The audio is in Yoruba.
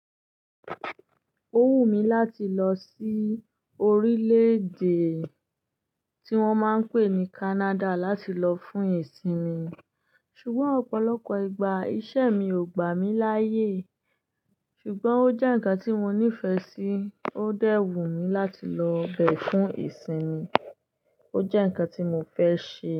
Ó wù mí láti lọ sí orílẹ̀-èdè tí wọ́n máa ń pè ní Canada láti lọ fún ìsinmi. Ṣùgbọ́n ọ̀pọ̀lọpọ̀ ìgbà iṣẹ́ mi ò gbà mí láyè. Ṣùgbọ́n ó jẹ́ ǹkan tí mo nífẹ̀ẹ́ sí, ó dẹ́wù mí láti lọ bẹ fún ìsinmi. Ó jẹ́ ǹkan tí mo fẹ́ ṣe.